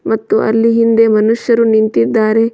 ಮತ್ತು ಅಲ್ಲಿ ಹಿಂದೆ ಮನುಷ್ಯರು ನಿಂತಿದ್ದಾರೆ.